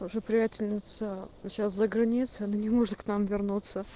наша приятельница сейчас за границей она не может к нам вернуться